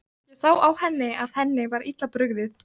Ég sá á henni að henni var illa brugðið.